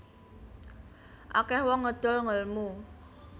Akeh wong ngedol ngelmu